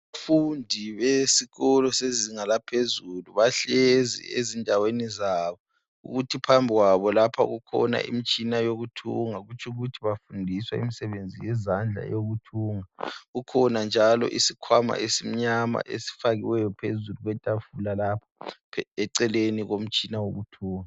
Abafundi besikolo sezinga laphezulu bahlezi ezindaweni zabo. Kuthi phambi kwabo lapha kukhona imtshina yokuthunga kutshukuthi bafundiswa imsebenzi yezandla yokuthunga. Kukhona njalo isikhwama esimnyama esifakiweyo phezulu kwetafula lapha eceleni komtshina wokuthunga.